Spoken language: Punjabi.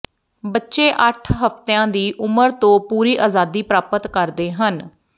ਬੱਚੇ ਅੱਠ ਹਫ਼ਤਿਆਂ ਦੀ ਉਮਰ ਤੋਂ ਪੂਰੀ ਆਜ਼ਾਦੀ ਪ੍ਰਾਪਤ ਕਰਦੇ ਹਨ